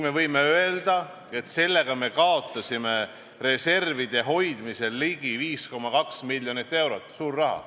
Me võime öelda, et sellega me kaotasime reservide hoidmisel ligi 5,2 miljonit eurot – suur raha.